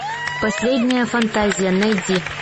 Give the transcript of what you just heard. последняя фантазия найди